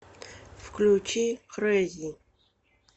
включи крэйзи